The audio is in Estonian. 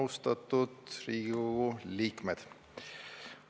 Austatud Riigikogu liikmed!